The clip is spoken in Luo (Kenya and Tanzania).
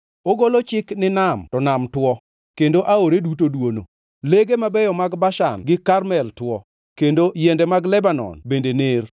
Ogolo chik to nam mi nam tuo, kendo aore duto dwono. Lege mabeyo mag Bashan gi Karmel tuo, kendo yiende mag Lebanon bende ner.